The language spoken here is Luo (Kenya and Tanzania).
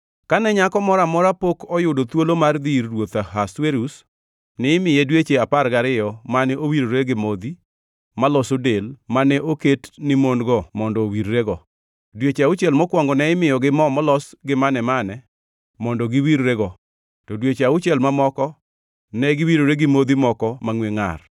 Kane nyako moro amora pok oyudo thuolo mar dhi ir ruoth Ahasuerus, nimiye dweche apar gariyo mane owirore gi modhi maloso del mane oket ni mon-go mondo owirrego, dweche auchiel mokwongo ne imiyogi mo molos gi mane-mane mondo giwirrego, to dweche auchiel mamoko ne giwirore gi modhi moko mangʼwe ngʼar.